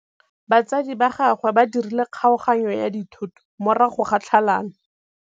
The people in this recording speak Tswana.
Batsadi ba gagwe ba dirile kgaoganyô ya dithoto morago ga tlhalanô.